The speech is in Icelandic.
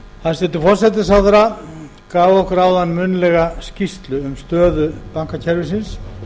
hæstvirtur forsætisráðherra gaf okkur áðan munnlega skýrslu um stöðu bankakerfisins